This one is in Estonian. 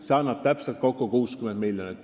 See annab kokku täpselt 60 miljonit.